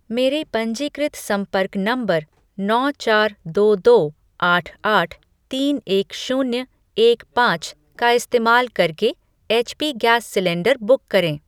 मेरे पंजीकृत संपर्क नंबर नौ चार दो दो आठ आठ तीन एक शून्य एक पाँच का इस्तेमाल करके एचपी गैस सिलेंडर बुक करें।